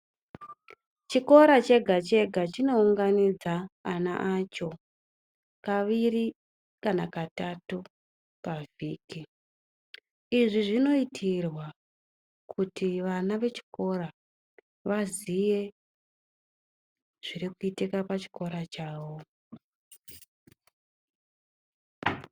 Chikora chega-chega chinounganidza ana acho kaviri kana katatu pavhiki. Izvi zvinoitirwa kuti vana vechikora vaziye zvirikuitika pachikora chawo.